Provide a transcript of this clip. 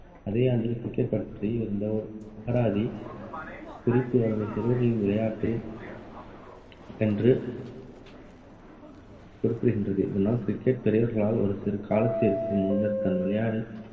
அதே ஆண்டில் cricket பற்றி இருந்த அகராதி குறிப்பு அதனை சிறுவர்களின் விளையாட்டு என்று குறிப்பிடுகின்றது. இதனால் cricket பெரியவர்களால் ஒரு சிறு காலத்திற்கு முன்னர் தான் விளையாட